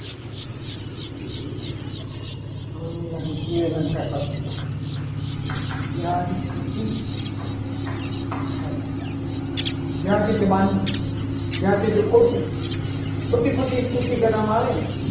હવે મન લાગે છે. કે બે અલંકાર બાકી રહ્યા. વ્યાજસ્તુતિ અલંકાર વ્યાજ એટલે બહાનું વ્યાજ એટલે ખોટું ખોટી ખોટી સ્તુતિ કરવામાં આવે ને